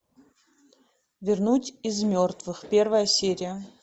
вернуть из мертвых первая серия